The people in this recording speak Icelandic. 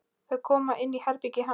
Þau koma inn í herbergið hans.